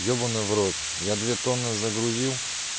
ебанный в рот я две тонны загрузил